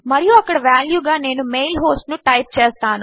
మరియు అక్కడ వాల్యూ గా నేను మెయిల్ హోస్ట్ ను టైప్ చేస్తాను